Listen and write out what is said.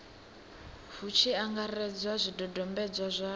hu tshi angaredzwa zwidodombedzwa zwa